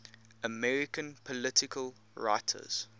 american political writers